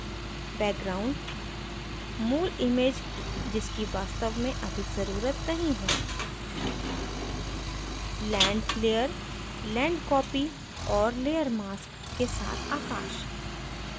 background मूल image जिसकी वास्तव में अधिक जरूरत नहीं है land layer land copy और layer mask के साथ आकाश